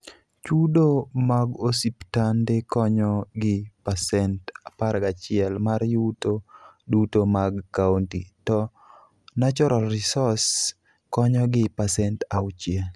Chudo mag osiptande konyo gi pasent 11 mar yuto duto mag kaunti, to Natural Resource konyo gi pasent 6.